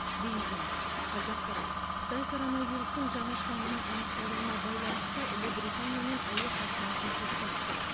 бейжің қазақпарат қытай коронавирустың жаңа штаммының анықталуына байланысты ұлыбританиямен әуе қатынасын тоқтатты